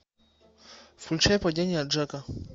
включай падение джека